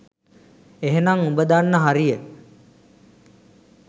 එහෙනම් උඹ දන්න හරිය.